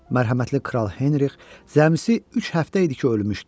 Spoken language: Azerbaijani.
Mərhəmətli kral Henrikh cəmisi üç həftə idi ki ölmüşdü.